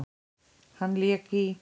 Hann lék í